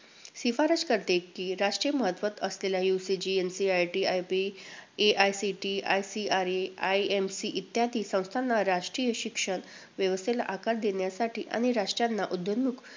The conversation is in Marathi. शिफारस करते की, राष्ट्रीय महत्त्व असलेल्या UGC, NCERT, NIEPA, AICTE, ICAR, IMC इत्यादी संस्थांना राष्ट्रीय शिक्षण व्यवस्थेला आकार देण्यासाठी आणि राष्ट्रांना उदयोन्मुख